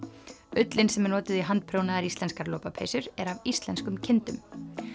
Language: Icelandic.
ullin sem er notuð í handprjónaðar íslenskar lopapeysur er af íslenskum kindum